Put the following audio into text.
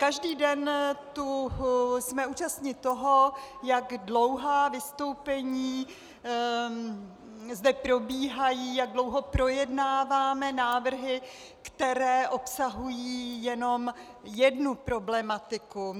Každý den jsme tu účastni toho, jak dlouhá vystoupení zde probíhají, jak dlouho projednáváme návrhy, které obsahují jenom jednu problematiku.